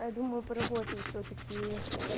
а я думаю поработаю всё-таки